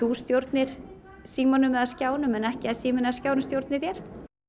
stjórnir símanum eða skjánum en ekki að síminn eða skjárinn stjórni þér